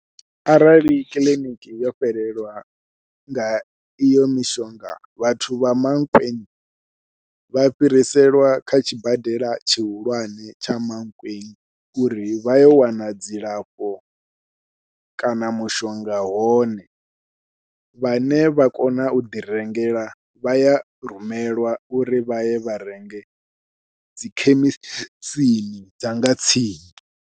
Arali kiḽiniki yo fhelelwa nga iyo mishonga vhathu vha Mankweng vha fhiriselwa kha tshibadela tshihulwane tsha Mankweng uri vha yo wana dzilafho kana mushonga hone, vhane vha kona u ḓi rengela vha ya rumelwa uri vhaye vha renge dzi khemisini dza nga tsini.